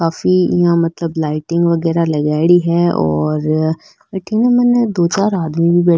काफी यहाँ मतलब लाइटिंग वगेरा लगाईडी है और अठीने मैंने दो चार आदमी भी बैठ --